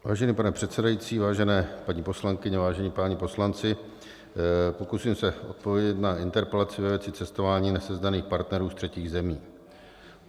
Vážený pane předsedající, vážené paní poslankyně, vážení páni poslanci, pokusím se odpovědět na interpelaci ve věci cestování nesezdaných partnerů z třetích zemí.